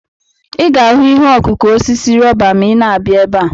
Ị ga-ahụ ihe ọkụkụ osisi rọba ma ịna-abịa ebe a.